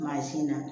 Mansin na